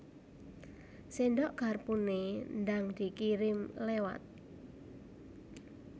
Sendok garpune ndang dikirim lewat